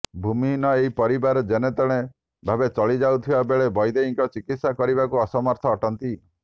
ଭୂମିହିନ ଏହି ପରିବାର ଜେନ ତେଣ ଭାବେ ଚଳି ଯାଉଥିବା ବେଳେ ବୈଦେଇଙ୍କ ଚିକିତ୍ସା କରିବାକୁ ଅସମର୍ଥ ଅଟନ୍ତି